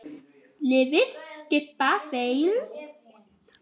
Liðið skipa þeir